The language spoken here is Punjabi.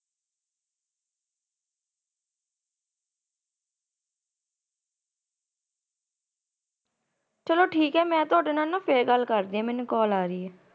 ਚਲੋ ਠੀਕ ਆ, ਮੈਂ ਨਾ ਤੁਹਾਡੇ ਨਾਲ ਨਾਂ ਫੇਰ ਗੱਲ ਕਰਦੀ ਆਂ, ਮੈਨੂੰ ਕਾਲ ਆਰੀ ਆ ।